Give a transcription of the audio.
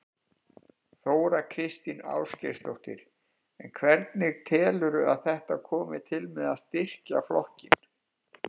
Þóra Kristín Ásgeirsdóttir: En hvernig telurðu að þetta komi til með að styrkja flokkinn?